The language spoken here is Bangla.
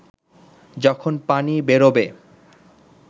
যখন পানি বেরোবে